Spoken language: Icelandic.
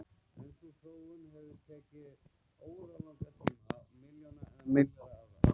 En sú þróun hefur tekið óralangan tíma, milljónir eða milljarða ára.